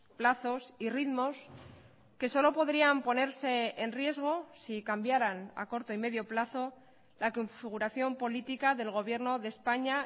plazos y ritmos que solo podrían ponerse en riesgo si cambiaran a corto y medio plazo la configuración política del gobierno de españa